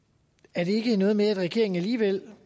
er det ikke noget med at regeringen alligevel